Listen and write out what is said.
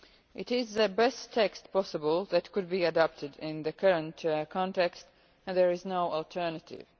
It is the best text possible that could be adapted in the current context and there is no alternative.